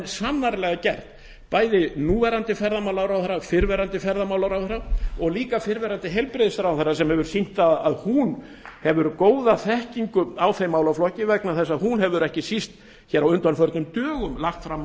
sannarlega gert bæði núverandi ferðamálaráðherra fyrrverandi ferðamálaráðherra og líka fyrrverandi heilbrigðisráðherra sem hefur sýnt það að hún hefur góða þekkingu á þeim málaflokki vegna þess að hún hefur ekki síst á undanförnum dögum lagt fram